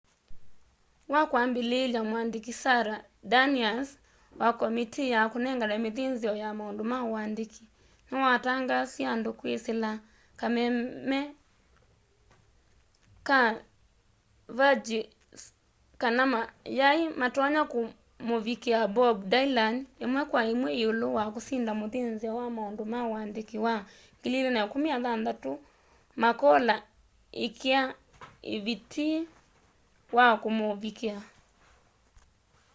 wakwambĩlĩlya mwandĩkĩ sara danius wa komitii ya kunengana mithinzio ya maundu ma uandiki nĩwatangaasiie andũ kwĩsĩla kameme ka sveriges kana mayaĩ matonya kũmũvikĩa bob dylan imwe kwa imwe yĩũlũ wa kũsinda mũthĩnzĩo wa maundu ma uandiki wa 2016 makola ikia vitii wa kũmũvikia